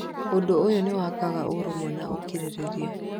Ũndũ ũyũ nĩ wakaga ũrũmwe na ũkirĩrĩria.